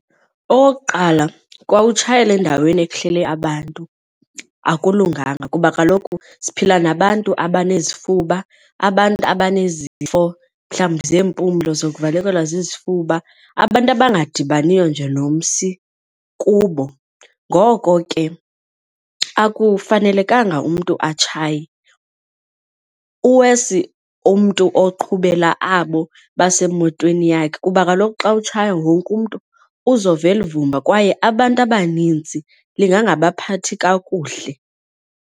Okokuqala kwautshayela endaweni ehleli abantu akulunganga kuba kaloku siphila nabantu abanezifuba abantu abanezifo mhlawumbi zeempumlo zokuvalekelwa zizifuba, abantu abangadibani yiyo nje nomsi kubo. Ngoko ke akufanelekanga umntu atshaye, uwesi umntu oqhubela abo basemotweni yakhe kuba kaloku xa utshaya wonke umntu uzova eli vumba kwaye abantu abaninzi lingangabaphathi kakuhle.